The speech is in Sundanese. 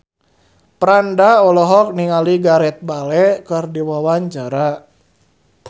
Franda olohok ningali Gareth Bale keur diwawancara